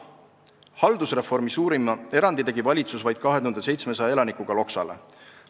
Haldusreformi suurima erandi tegi valitsus vaid 2700 elanikuga Loksale.